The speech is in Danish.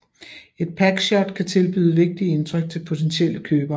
Et packshot kan tilbyde vigtige indtryk til potentielle købere